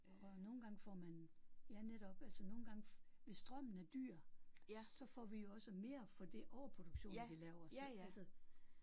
Og nogle gange får man ja netop altså nogle gange hvis strømmen er dyr så får vi jo også mere for det overproduktion vi laver så altså